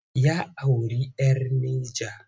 Ya auri 'yar Neja.